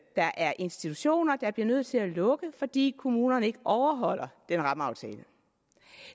er institutioner der bliver nødt til at lukke fordi kommunerne ikke overholder den rammeaftale